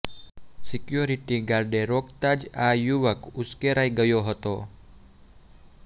security ગાર્ડે રોકતા જ આ યુવક ઉશ્કેરાઈ ગયો હતો